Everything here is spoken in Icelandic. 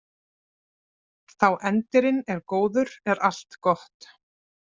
Þá endirinn er góður er allt gott.